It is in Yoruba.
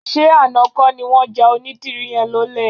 Ṣé àná kọ́ ni wọ́n ja onídìrí yẹn lólè?